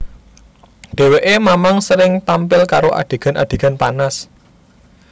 Dheweké mamang sering tampil karo adegan adegan panas